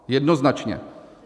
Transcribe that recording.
Jednoznačně.